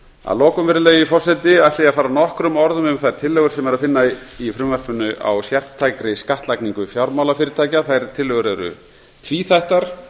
að lokum virðulegi forseti ætla ég að fara nokkrum orðum um þær tillögur sem er að finna í frumvarpinu á sértækri skattlagningu fjármálafyrirtækja þær tillögur eru tvíþættar